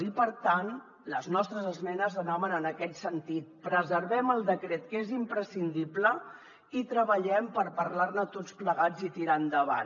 i per tant les nostres esmenes anaven en aquest sentit preservem el decret que és imprescindible i treballem per parlar ne tots plegats i tirar endavant